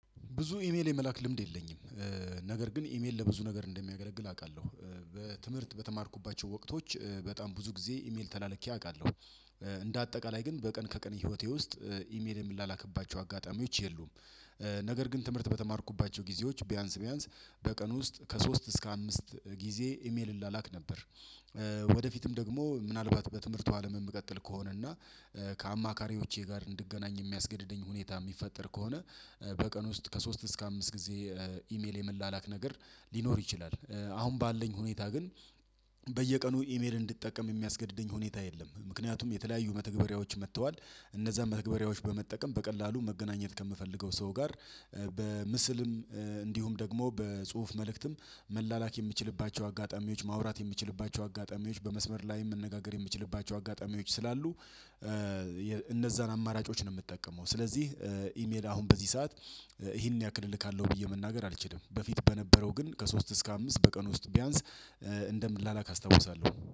ብዙ ኢሜል የመላክ ልምድ የለኝም። ነገር ግን ኢሜል ለብዙ ነገር እንደሚያገለግል አቃለሁ። ትምህርት በተማርኩባቸው ወቅቶች በጣም ብዙ ጊዜ ኢሜል ተላልኬ አቃለሁ። እንደ አጠቃላይ ግን በቀን ከቀን ህይወቴ ውስጥ ኢሜል የምላላክባቸው አጋጣሚዎች የሉም። ነገር ግን ትምህርት በተማርኩባቸው ጊዜዎች ቢያንስ ቢያንስ በቀን ውስጥ ከሶስት እስከ አምስት ጊዜ ኢሜል እላላክ ነበር። ወደፊትም ደግሞ ምናልባት በትምህርቱ አለም የምቀጥል ከሆነ ከአማካሪዎቼ ጋር እንድገናኝ የሚያስገድደኝ ሁኔታ ሚፈጠር ከሆነ። በቀን ውስጥ ከሶስት እስከ አምስት ጊዜ ኢሜል የመላላክ ነገር ሊኖር ይችላል። አሁን ባለኝ ሁኔታ ግን በየቀኑ ኢሜል እንድጠቀም የሚያስገድደኝ ሁኔታ የለም። ምክንያቱም የተለያዩ መተግበሪያዎች መጥተዋል። እነዛን መተግበሪያዎች በመጠቀም በቀላሉ መገናኘት ከምፈልገው ሰው ጋር። በምስልም እንዲሁም ደግሞ በጽሁፍ መልእክትም መላላክ የምችልባቸው አጋጣሚዎች ማውራት የምችልባቸው አጋጣሚዎች በመስመር ላይ መነጋገር የምችልባቸው አጋጣሚዎች ስላሉ። እነዛን አማራጮች ነው ምጠቀመው ስለዚህ። ኢሜል አሁን በዚህ ሰዓት ይሄን ያክል እልካለሁ ብዬ መናገር አልችልም። በፊት በነበረው ግን ከሶስት እስከ አምስት በቀን ውስጥ ቢያንስ እንደምላላክ አስታውሳለሁ